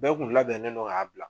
Bɛɛ kun labɛnnen no k'a bila